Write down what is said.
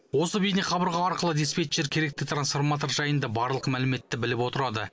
осы бейнеқабырға арқылы диспетчер керекті трансформатор жайында барлық мәліметті біліп отырады